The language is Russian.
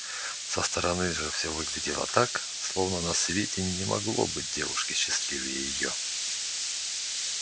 со стороны же все выглядело так словно на свете не могло быть девушки счастливее её